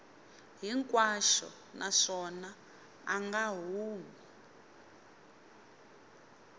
hinkwaxo naswona a nga humi